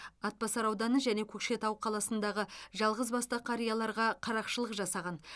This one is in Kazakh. атбасар ауданы және көкшетау қаласындағы жалғыз басты қарияларға қарақшылық жасаған